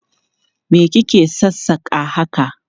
Me ki ke sassaka haka?